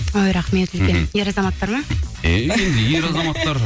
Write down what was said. ой рахмет үлкен ер азаматтар ма иә енді ер азматтар